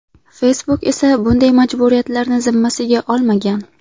Facebook esa bunday majburiyatlarni zimmasiga olmagan.